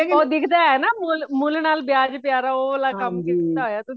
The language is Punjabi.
ਉਹ ਦਿੱਖਦਾ ਹੈ ਨਾ ਮੂਲ ਮੂਲ ਨਾਲ ਬਯਾਜ ਪਿਆਰਾ ਉਹ ਵਾਲਾ ਕੰਮ ਕੀਤਾ ਹੋਇਆ ਤੁਸੀਂ